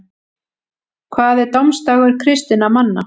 hvað er dómsdagur kristinna manna